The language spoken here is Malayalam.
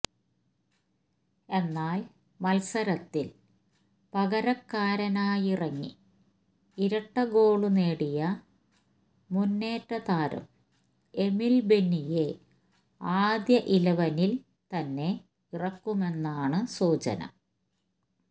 എന്നാല് മത്സരത്തില് പകരക്കാരനായിറങ്ങി ഇരട്ട ഗോള് നേടിയ മുന്നേറ്റ താരം എമില് ബെന്നിയെ ആദ്യ ഇലവനില് തന്നെ ഇറക്കുമെന്നാണ് സൂചന